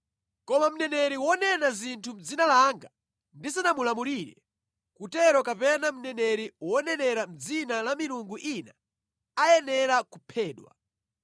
Koma mneneri wonena zinthu mʼdzina langa ndisanamulamulire kutero, kapena mneneri wonenera mʼdzina la milungu ina, ayenera kuphedwa.”